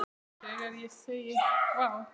Þegar ég segi: Vá!